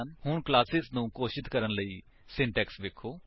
ਹੁਣ ਕਲਾਸੇਸ ਨੂੰ ਘੋਸ਼ਿਤ ਕਰਣ ਲਈ ਸਿੰਟੇਕਸ ਵੇਖੋ